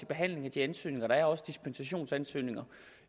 behandlingen af de ansøgninger der er herunder også dispensationsansøgninger